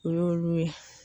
O y'olu ye